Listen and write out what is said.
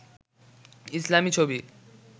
ইসলামি ছবি